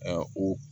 o